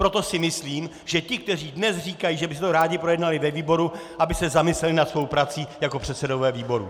Proto si myslím, že ti, kteří dnes říkají, že by si to rádi projednali ve výboru, aby se zamysleli nad svou prací jako předsedové výborů!